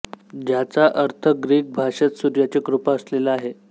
ज्याचा अर्थ ग्रीक भाषेत सूर्याची कृपा असलेला आहे